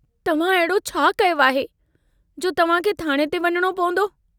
तव्हां अहिड़ो छा कयो आहे, जो तव्हांखे थाणे ते वञणो पवंदो?